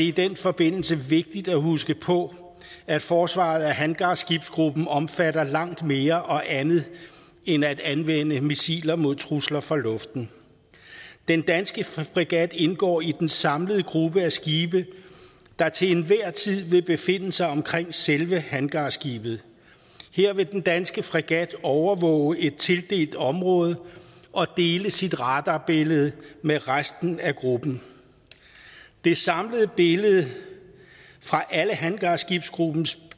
i den forbindelse vigtigt at huske på at forsvaret af hangarskibsgruppen omfatter langt mere og andet end at anvende missiler mod trusler fra luften den danske fregat indgår i den samlede gruppe af skibe der til enhver tid vil befinde sig omkring selve hangarskibet her vil den danske fregat overvåge et tildelt område og dele sit radarbillede med resten af gruppen det samlede billede fra alle hangarskibsgruppens